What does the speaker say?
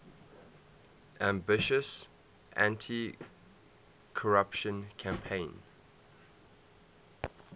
ambitious anticorruption campaign